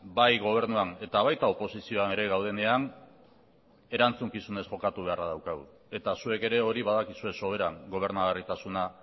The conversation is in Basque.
bai gobernuan eta baita oposizioan ere gaudenean erantzukizunez jokatu beharra daukagu eta zuek ere hori badakizue soberan gobernagarritasuna